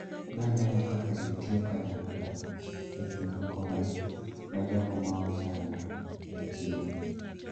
Naneno kaka ji tiyo kanyakla e chiwo kony ne jogo maochando e chiro.